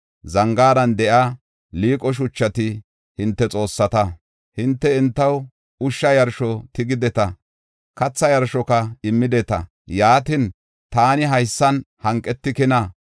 Zangaaran de7iya liiqo shuchati hinte xoossata; Hinte entaw ushsha yarsho tigideta. Kathaa yarshoka immideta yaatin, taani haysan hanqetikina?